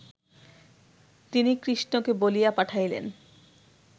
তিনি কৃষ্ণকে বলিয়া পাঠাইলেন